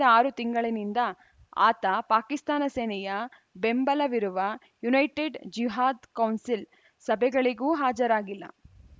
ಕಳೆದ ಆರು ತಿಂಗಳಿನಿಂದ ಆತ ಪಾಕಿಸ್ತಾನ ಸೇನೆಯ ಬೆಂಬಲವಿರುವ ಯುನೈಟೆಡ್‌ ಜಿಹಾದ್‌ ಕೌನ್ಸಿಲ್‌ ಸಭೆಗಳಿಗೂ ಹಾಜರಾಗಿಲ್ಲ